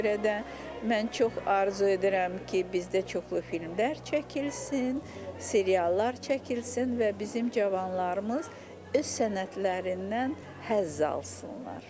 Ona görə də mən çox arzu edirəm ki, bizdə çoxlu filmlər çəkilsin, seriallar çəkilsin və bizim cavanlarımız öz sənətlərindən həzz alsınlar.